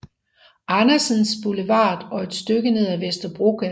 Andersens Boulevard og et stykke ned ad Vesterbrogade